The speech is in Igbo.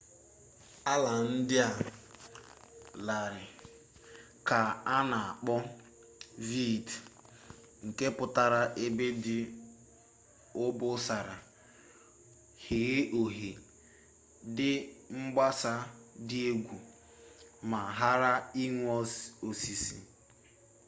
ala ndị a dị larịị ka a na akpọ vidde nke pụtara ebe dị obosara ghee oghe dị mgbasa dị egwu ma ghara inwe osisi